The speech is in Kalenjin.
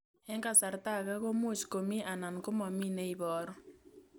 Eng' kasarta ag'e ko much ko mii anan komamii ne ibaru